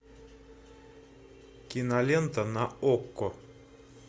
кинолента на окко